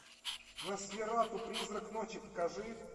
носферату призрак ночи покажи